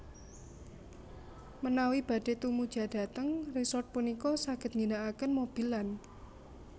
Menawi badhé tumujudhateng resort punika saged ngginakaken mobil lan